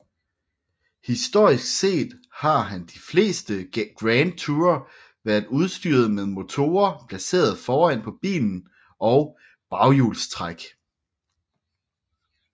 Historisk set har de fleste Grand Tourer været udstyret med motorer placeret foran på bilen og baghjulstræk